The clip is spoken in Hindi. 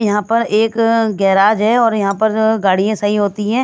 यहाँ पर एक गैराज है और यहाँ पर गाड़ियाँ सही होती हैं ।